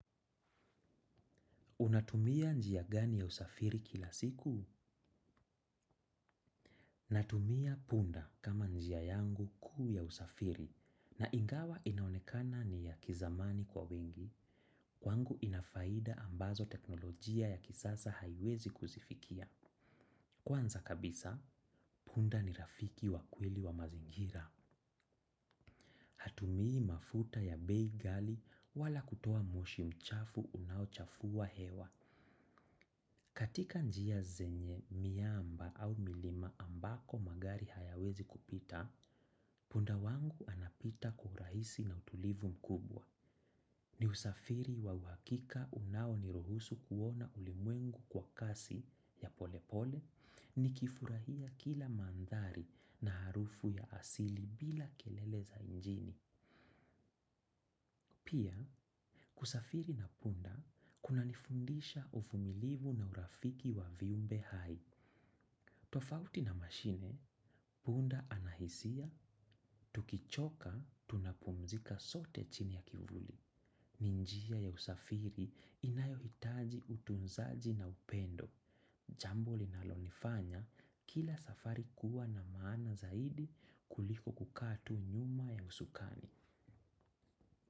Unatumia njia gani ya usafiri kila siku? Natumia punda kama njia yangu kuu ya usafiri. Na ingawa inaonekana ni ya kizamani kwa wengi. Kwangu ina faida ambazo teknolojia ya kisasa haiwezi kuzifikia. Kwanza kabisa, punda ni rafiki wa kweli wa mazingira. Hatumii mafuta ya bei ghali wala kutoa moshi mchafu unaochafua hewa. Katika njia zenye mwamba au milima ambako magari hayawezi kupita, punda wangu anapita kwa urahisi na utulivu mkubwa. Ni usafiri wa uhakika unaoniruhusu kuona ulimwengu kwa kasi ya polepole nikifurahia kila mandhari na harufu ya asili bila kelele za mjini. Pia, kusafiri na punda, kuna nifundisha uvumilivu na urafiki wa viumbe hai. Tofauti na mashine, punda anahisia, tukichoka, tunapumzika sote chini ya kivuli. Ni njia ya usafiri inayohitaji utunzaji na upendo. Jambo linalonifanya, kila safari kuwa na maana zaidi kuliko kukaa tu nyuma ya usukani.